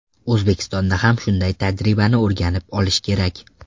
O‘zbekistonda ham shunday tajribani o‘rganib olish kerak.